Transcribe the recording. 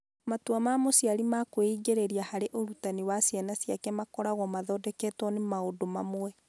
Matua ma mũciari ma kwĩingĩria harĩ ũrutani wa ciana ciake makoragwo mathondeketwo nĩ maũndũ mamwe.